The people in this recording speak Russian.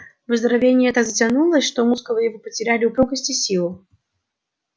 выздоровление так затянулось что мускулы его потеряли упругость и силу